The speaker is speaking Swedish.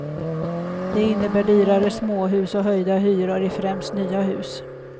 Det innebär dyrare småhus och höjda hyror i främst nya hus.